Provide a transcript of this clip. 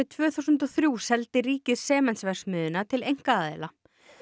tvö þúsund og þrjú seldi ríkið Sementsverksmiðjuna til einkaaðila